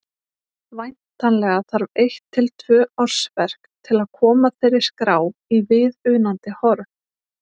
Væntanlega þarf eitt til tvö ársverk til að koma þeirri skrá í viðunandi horf.